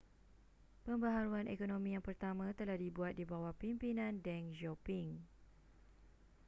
pembaharuan ekonomi yang pertama telah dibuat di bawah pimpinan deng xiaoping